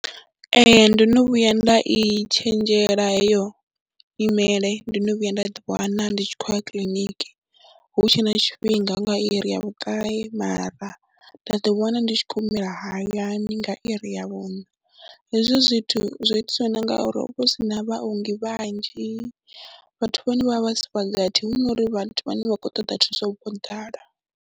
Ee, ndo no vhuya nda i tshenzhela heyo nyimele, ndo no vhuya nda ḓiwana ndi tshi khou ya kiḽiniki hu tshe na tshifhinga hu nga iri ya vhuṱahe mara nda ḓiwana ndi tshi humela hayani nga iri ya vhuṋa, hezwi zwithu zwo itiswa ngauri ho vha hu si na vhaongi vhanzhi, vhathu vha hone vho vha si gathi hu no ri vhathu vhane vha khou ṱoḓa thuso vho ḓala.